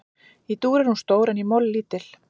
Í dúr er hún stór en í moll lítil.